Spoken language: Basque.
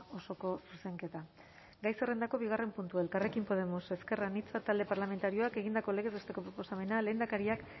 osoko zuzenketa gai zerrendako bigarren puntua elkarrekin podemos ezker anitza talde parlamentarioak egindako legez besteko proposamena lehendakariak